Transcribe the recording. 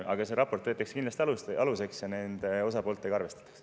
Aga see raport võetakse kindlasti aluseks ja nende osapooltega arvestatakse.